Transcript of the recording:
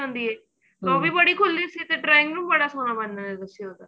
ਹੁੰਦੀ ਏ ਵੀ ਬੜੀ ਖੁਲੀ ਸੀ ਤੇ drawing room ਬੜਾ ਸੋਹਣਾ ਬਣਿਆ ਹੋਇਆ ਸੀ